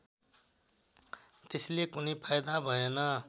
त्यसले कुनै फाइदा भएन